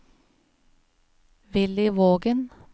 Willy Vågen